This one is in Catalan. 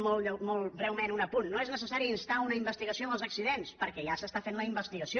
molt breument un apunt no és necessari instar una investigació dels accidents perquè ja s’està fent la investigació